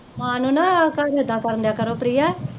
ਮਾਂ ਨੂੰ ਨਾ